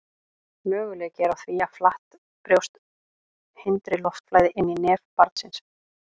möguleiki er á því að flatt brjóst hindri loftflæði inn í nef barns